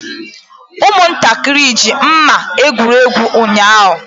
Ụmụntakịrị ji mma egwuri egwu ụnyaahụ.